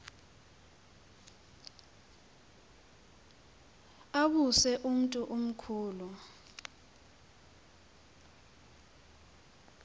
tawuse umntu omkhulu